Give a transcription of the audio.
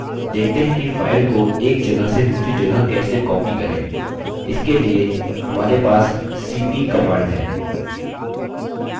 देखते हैं कि file को एक जगह से दूसरी जगह कैसे copy करें इसके लिए हमारे पास cp command है